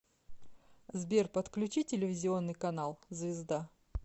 сбер подключи телевизионный канал звезда